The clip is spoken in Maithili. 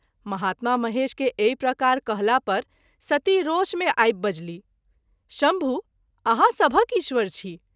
महात्मा महेश के एहि प्रकार कहला पर सती रोष मे आबि बजलीह - शम्भु! आहाँ सभक ईश्वर छी।